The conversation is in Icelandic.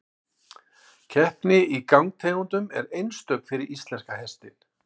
Keppni í gangtegundum er einstök fyrir íslenska hestinn.